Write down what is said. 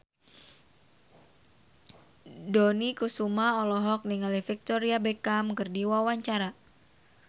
Dony Kesuma olohok ningali Victoria Beckham keur diwawancara